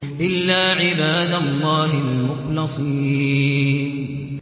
إِلَّا عِبَادَ اللَّهِ الْمُخْلَصِينَ